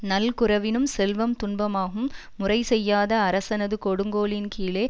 நல்குரவினும் செல்வம் துன்பமாகும் முறைசெய்யாத அரசனது கொடுங்கோலின் கீழே